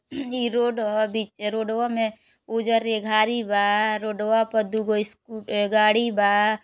इ रोड ह रोड में उज्जर रेघारी बा रोड प दुगो गाडी बा |